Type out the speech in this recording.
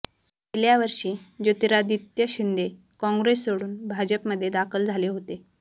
गेल्या वर्षी ज्योतिरादित्य शिंदे काँग्रेस सोडून भाजपमध्ये दाखल झाले होते